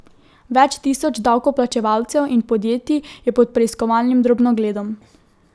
Več tisoč davkoplačevalcev in podjetij je pod preiskovalnim drobnogledom.